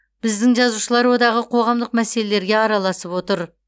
біздің жазушылар одағы қоғамдық мәселелерге араласып отыр